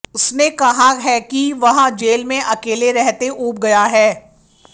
उसने कहा है कि वह जेल में अकेले रहते ऊब गया है